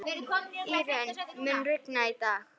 Írunn, mun rigna í dag?